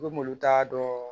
I bɛ mobili ta dɔɔni